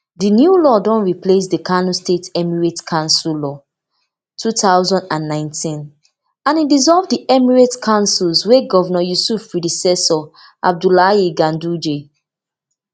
di new law don replace di kano state emirates council law two thousand and nineteen and e dissolve di emirate councils wey govnor yusuf predecessor abdullahi ganduje create